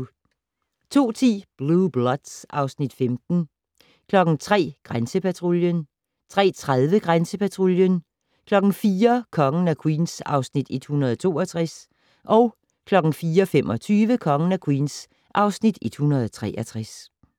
02:10: Blue Bloods (Afs. 15) 03:00: Grænsepatruljen 03:30: Grænsepatruljen 04:00: Kongen af Queens (Afs. 162) 04:25: Kongen af Queens (Afs. 163)